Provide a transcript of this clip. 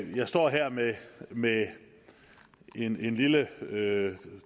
jeg står her med med en lille